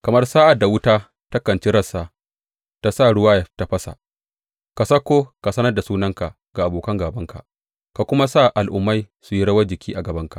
Kamar sa’ad da wuta takan ci rassa ta sa ruwa ya tafasa, ka sauko ka sanar da sunanka ga abokan gābanka ka kuma sa al’ummai su yi rawan jiki a gabanka!